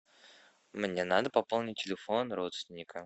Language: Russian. мне надо пополнить телефон родственника